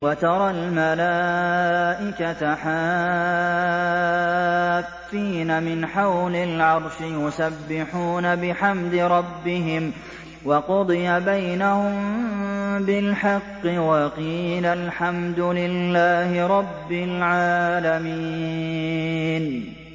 وَتَرَى الْمَلَائِكَةَ حَافِّينَ مِنْ حَوْلِ الْعَرْشِ يُسَبِّحُونَ بِحَمْدِ رَبِّهِمْ ۖ وَقُضِيَ بَيْنَهُم بِالْحَقِّ وَقِيلَ الْحَمْدُ لِلَّهِ رَبِّ الْعَالَمِينَ